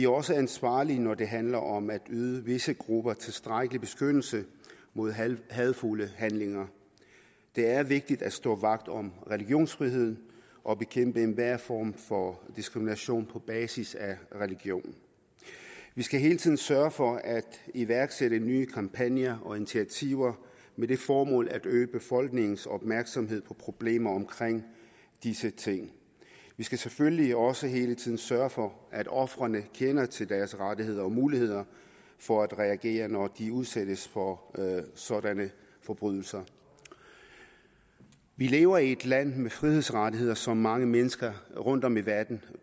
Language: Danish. også ansvarlige når det handler om at yde visse grupper tilstrækkelig beskyttelse mod hadefulde handlinger det er vigtigt at stå vagt om religionsfriheden og bekæmpe enhver form for diskrimination på basis af religion vi skal hele tiden sørge for at iværksætte nye kampagner og initiativer med det formål at øge befolkningens opmærksomhed på problemer omkring disse ting vi skal selvfølgelig også hele tiden sørge for at ofrene kender til deres rettigheder og muligheder for at reagere når de udsættes for sådanne forbrydelser vi lever i et land med frihedsrettigheder som mange mennesker rundtom i verden